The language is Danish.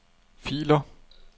filer